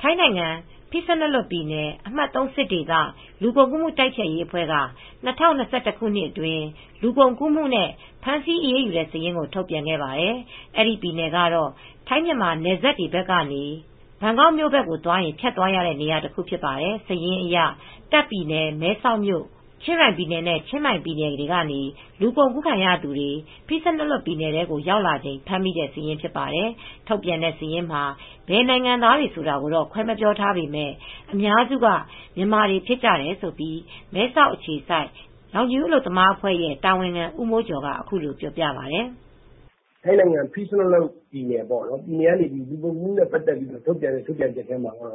ထိုင်းနိုင်ငံ Phitsanulok ပြည်နယ်၊ အမှတ်(၃) စစ်ဒေသ လူကုန်ကူးမူတိုက်ဖျက်ရေးအဖွဲ့က ၂၀၂၁ ခုနှစ်အတွင်း လူကုန်ကူးမှုနဲ့ ဖမ်းဆီးအရေးယူခဲ့တဲ့ စာရင်းထုတ်ပြန်ခဲ့ပါတယ်။ အဲဒီပြည်နယ်ကတော့ ထိုင်း မြန်မာနယ်စပ်ဘက်တွေကနေ ဘန်ကောက်မြို့ဘက်ကို သွားရင် ဖြတ်သွားရတဲ့ နေရာတခုဖြစ်ပါတယ်။ စာရင်းအရ တာ့ခ်ပြည်နယ် မဲဆောက်မြို့၊ ချင်းရိုင်ပြည်နယ်နဲ့ ချင်းမိုင်ပြည်နယ်တွေကနေ လူကုန်ကူးခံရသူတွေ Phitsanulok ပြည်နယ်ထဲကို ရောက်လာချိန် ဖမ်းမိတဲ့ စာရင်းဖြစ်တယ်။ ထုတ်ပြန်တဲ့ စာရင်းမှာ ဘယ်နိုင်ငံသားတွေလဲဆိုတာ ခွဲမပြောထားပေမဲ့ အများစုက မြန်မာတွေဖြစ်တယ်လို့ မဲဆောက်အခြစိုက် ရောင်ခြည်ဦးအလုပ်သမားအဖွဲ့ရဲ့ တာဝန်ခံဦးမိုးကျော်ကအခုလိုပြောပြပါတယ်။ "ထိုင်းနိုင်ငံ Phitsanulok ပြည်နယ်ကနေ ထုတ်ပြန်တဲ့ ကြေငြာချက်ထဲမှာ မြန်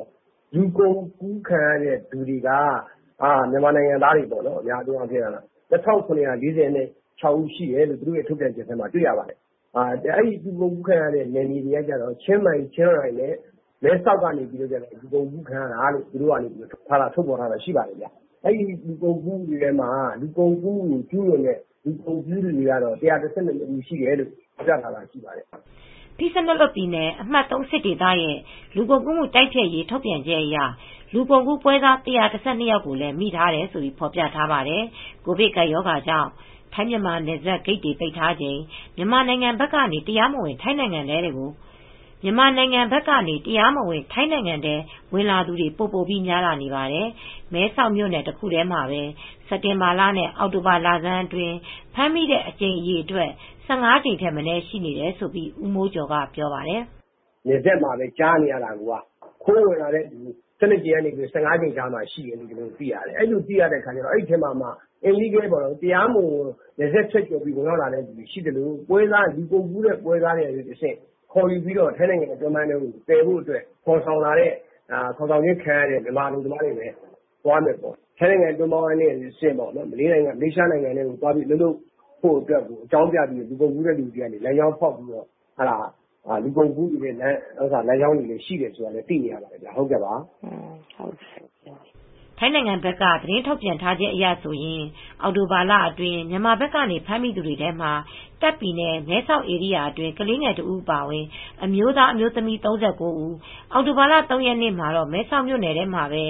မာနိုင်ငံသား ၂၇၆၄ ဦးရှိတယ်လို့ ထုတ်ပြန်ထားတယ်။ လူကုန်ကူးခံရတဲ့နယ်မြေတွေက မဲဆောက် ချင်းရိုင် ချင်းမိုင်ဘက်ကနေ လူကုန်ကူးခံရတာလို့ထုတ်ပြန်ထားပါတယ်။ အဲဒီထဲမှာ ကျူးလွန်တဲ့လူကုန်ကူးသူ ၁၁၂ ယောက် ဖမ်းမိတယ်လို့ သိရပါတယ်" Phitsanulok ပြည်နယ်၊ အမှတ်(၃) စစ်ဒေသရဲ့လူကုန်ကူးမှု တိုက်ဖျက်ရေးထုတ်ပြန်ချက်အရ လူကုန်ကူးပွဲစား ၁၁၂ ယောက်ကိုလည်း မိတယ်လို့ ဖော်ပြထားပါတယ်။ ကိုဗစ်ကပ်ရောဂါကြောင့် ထိုင်း မြန်မာနယ်စပ်ဂိတ်တွေ ပိတ်ထားချိန် မြန်မာနိုင်ငံဘက်ကနေ တရားမဝင် ထိုင်းနိုင်ငံထဲ ဝင်လာသူတွေ ပိုပိုပြီး များလာနေပါတယ်။ မဲဆောက်မြို့နယ်တခုတည်းမှာပဲ စက်တင်ဘာလနဲ့ အောက်တိုဘာလလဆန်းအတွင်း ဖမ်းမိတဲ့အကြိမ်အရေအတွက် ၁၅ ကြိမ်ထက်မနည်းရှိနေတယ်လို့ ဦးမိုးကျော်က ပြောပါတယ်။ "နယ်စပ်တွေမှာ ဖမ်းမိတဲ့အကြိမ်က ၁၂ ကြိမ်ကနေ ၁၅ကြိမ် မနည်းအဖမ်းခံရတာတွေရှိနေတယ်။ တရားမဝင်နယ်စပ်ဖြတ်ကျော် သယ်ဆောင်လာတာရှိသလို တချို့ လူကုန်ကူးတဲ့ပွဲစားတွေက ထိုင်းနိုင်ငံအတွင်းပိုင်းကိုခေါ်ဆောင်လာခံရတဲ့မြန်မာနိုင်ငံသားတွေ သွားကြမယ့် ထိုင်းနိုင်ငံအတွင်းပိုင်းကနေ မလေးရှားနိုင်ငံထဲမှာ သွားဖို့အတွက် လူကုန်ကူးသူတွေက လမ်းကြောင်းဖောက်ပြီး သွားကြမယ့်သူတွေရှိတယ်ဆိုတာလည်းသိရပါတယ်" ထိုင်းနိုင်ငံဘက်က သတင်းထုတ်ပြန်ချက်အရဆိုရင် အောက်တိုဘာလအတွင်း မြန်မာဘက်လာသူ ဖမ်းမိသူတွေကတော့ တာ့ခ့်ပြည်နယ် မဲဆောက် ဧရိယာအတွင်း ကလေးငယ်တစ်ဦးအပါအဝင် အမျိုးသားအမျိုးသမီး ၃၉ ဦး၊ အောက်တိုဘာလ (၃) ရက်နေ့မှာ မဲဆောက်မြိုနယ်ထဲမှာပဲ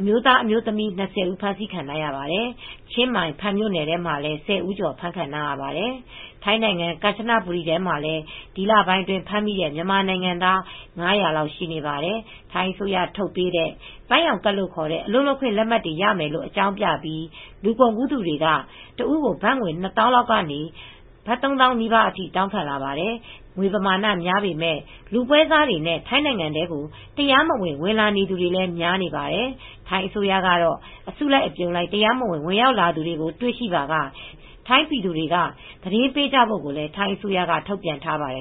အမျိုးသား၊ အမျိုးသမီး၂၀ ဖမ်းဆီးခံထားရပါတယ် ။ ချင်းမိုင်ဖန်မြိုနယ်ထဲမှာလည်း ၁၀ဦးကျော်ဖမ်းခံရပါတယ် ။ ထိုင်းနိုင်ငံ ကမ်ချနဘူရီပြည်နယ်ထဲမှာပဲ ဒီလပိုင်းအတွင်းဖမ်းမိတဲ့ မြန်မာနိုင်ငံသား ၅၀၀ လောက်ရှိနေပါတယ်။ ထိုင်းအစိုးရထုတ်ပေးတဲ့ ပန်းရောက်ကဒ်လို့ ခေါ်တဲ့ အလုပ်လုပ်ခွင့်လက်မှတ်တွေ ရမယ်လို့ အကြောင်းပြပြီး လူကုန်ကူးသူတွေက တဦးကို ဘတ်ငွေ ၂၀၀၀၀လောက်က ၃၀၀၀၀ နီးပါးအထိ တောင်းခံပါတယ်။ ငွေပမာဏများပေမဲ့ လူပွဲစားတွေနဲ့ ထိုင်းနိုင်ငံထဲ တရားမဝင် ဝင်လာနေသူတွေလည်း များနေပါတယ်။ ထိုင်းအစိုးရကတော့ အစုလိုက်အပြုံလိုက် တရားမဝင် ဝင်ရောက်လာသူတွေကိုတွေ တွေ့ရှိပါက ထိုင်းပြည်သူတွေက သတင်းပေးကြဖို့ကိုလည်းထိုင်းအစိုးရက ထုတ်ပြန်ထားပါတယ်